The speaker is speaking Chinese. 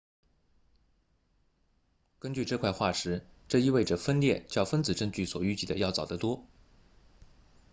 根据这块化石这意味着分裂较分子证据所预计的要早得多